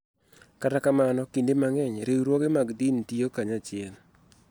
Kata kamano, kinde mang�eny, riwruoge mag din tiyo kanyachiel .